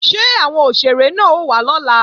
Ṣé àwọn òṣèré náà ó wá lọ́la?